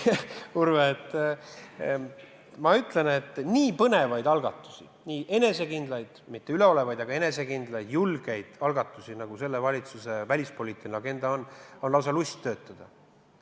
Urve, ma ütlen, et kui tegu on nii põnevate algatustega, nii enesekindlate – mitte üleolevate, vaid just enesekindlate –, julgete algatustega, nagu selle valitsuse välispoliitilises agendas on, siis on lausa lust töötada.